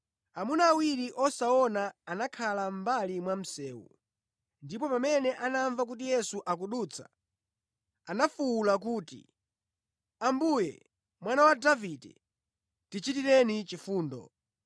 Amuna awiri osaona anakhala mʼmbali mwa msewu, ndipo pamene anamva kuti Yesu akudutsa anafuwula kuti, “Ambuye, Mwana wa Davide, tichitireni chifundo!”